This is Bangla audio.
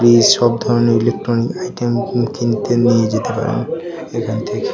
এই সব ধরনের ইলেকট্রণিক আইটেম কিনতে নিয়ে যেতে পারেন এখান থেকে।